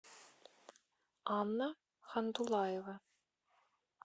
анна хандулаева